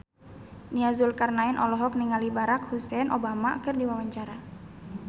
Nia Zulkarnaen olohok ningali Barack Hussein Obama keur diwawancara